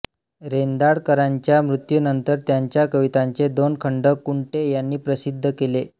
रेंदाळकरांच्या मृत्यूनंतर त्यांच्या कवितांचे दोन खंड कुंटे यांनी प्रसिद्ध केले